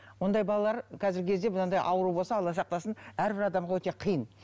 ондай балалар қазіргі кезде мынадай ауру болса алла сақтасын әрбір адамға өте қиын